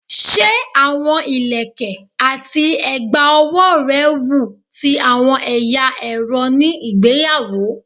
Se awọn ilẹkẹ ati a egba owo rẹ wun ti awọn ẹya ẹrọ ni igbeyawo?